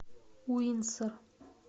уинсор